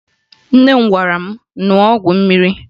Nne m gwara m ṅụọ ọgwụ mmiri